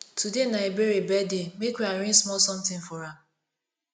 today na ebere birthday make we arrange small something for am